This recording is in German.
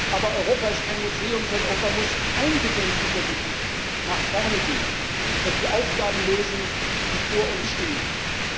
Aber Europa ist kein Museum, sondern Europa muss eingedenk dieser Geschichte nach vorne gehen und die Aufgaben lösen, die vor uns liegen.